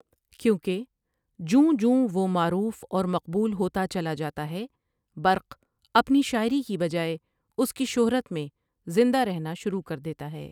کیونکہ جوں جوں وہ معروف اور مقبول ہوتا چلا جاتا ہے برق اپنی شاعری کی بجائے اس کی شہرت میں زندہ رہنا شروع کر دیتا ہے ۔